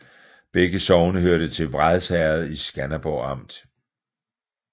Begge sogne hørte til Vrads Herred i Skanderborg Amt